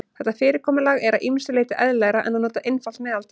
Þetta fyrirkomulag er að ýmsu leyti eðlilegra en að nota einfalt meðaltal.